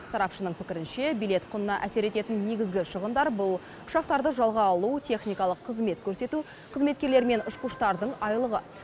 сарапшының пікірінше билет құнына әсер ететін негізгі шығындар бұл ұшақтарды жалға алу техникалық қызмет көрсету қызметкерлер мен ұшқыштардың айлығы